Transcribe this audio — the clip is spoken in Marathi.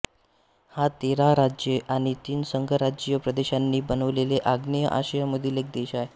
हा तेरा राज्ये आणि तीन संघराज्यीय प्रदेशांनी बनलेला आग्नेय आशियामधील एक देश आहे